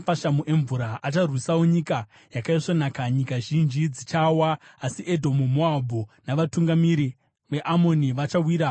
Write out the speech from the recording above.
Acharwisawo Nyika Yakaisvonaka. Nyika zhinji dzichawa, asi Edhomu, Moabhu, navatungamiri veAmoni vachawira muruoko rwake.